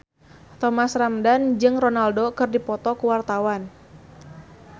Thomas Ramdhan jeung Ronaldo keur dipoto ku wartawan